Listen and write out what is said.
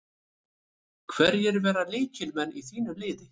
Hverjir verða lykilmenn í þínu liði?